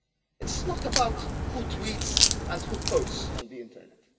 It is not about who tweets and who posts on the internet.